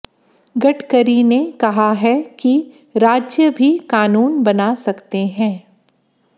गडकरी ने कहा है कि राज्य भी कानून बना सकते हैं